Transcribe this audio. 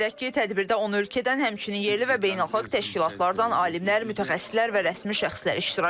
Qeyd edək ki, tədbirdə 10 ölkədən, həmçinin yerli və beynəlxalq təşkilatlardan alimlər, mütəxəssislər və rəsmi şəxslər iştirak edib.